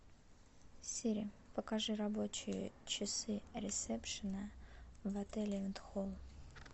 сири покажи рабочие часы ресепшена в отеле энтхол